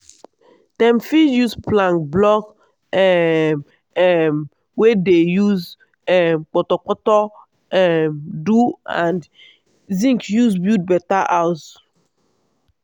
dem fit use plank block um um wey dem use um portorportor um do and zinc use build better house.